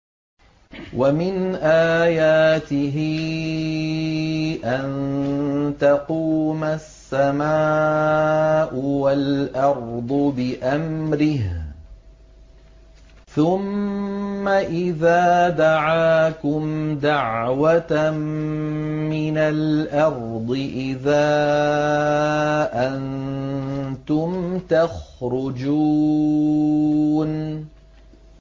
وَمِنْ آيَاتِهِ أَن تَقُومَ السَّمَاءُ وَالْأَرْضُ بِأَمْرِهِ ۚ ثُمَّ إِذَا دَعَاكُمْ دَعْوَةً مِّنَ الْأَرْضِ إِذَا أَنتُمْ تَخْرُجُونَ